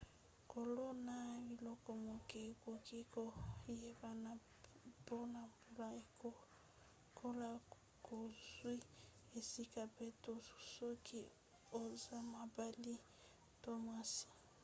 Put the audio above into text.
kolona biloko moke ekoki koyebana mpona mbula ekolo bozwi esika mpe/to soki oza mobali to mwasi